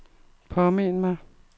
påmind mig